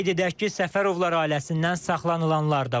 Qeyd edək ki, Səfərovlar ailəsindən saxlanılanlar da var.